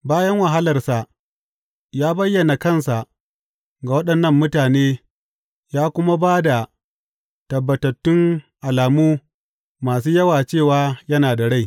Bayan wahalarsa, ya bayyana kansa ga waɗannan mutane ya kuma ba da tabbatattun alamu masu yawa cewa yana da rai.